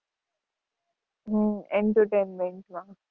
હમ entertainment માં.